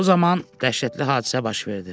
Bu zaman dəhşətli hadisə baş verdi.